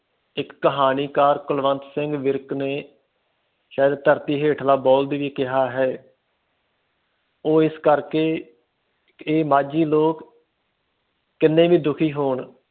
ਇਕ ਕਹਾਣੀਕਾਰ ਕੁਲਵੰਤ ਸਿੰਘ ਵਿਰਕ ਨੇ ਧਰਤੁ ਹੇਠਲਾ ਬੋਲਡ ਵੀ ਕਿਹਾ ਹੈ ਉਹ ਇਸ ਕਰਕੇ ਇਹ ਮਾਝੀ ਲੋਕ ਕਿੰਨੇ ਵੀ ਦੁਖੀ ਹੋਣ